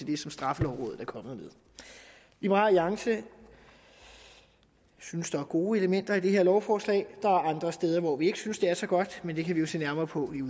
det som straffelovrådet er kommet med liberal alliance synes der er gode elementer i det her lovforslag der er andre steder hvor vi ikke synes det er så godt men det kan vi jo se nærmere på